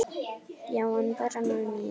Já, en bara með mér.